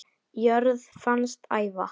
jörð fannst æva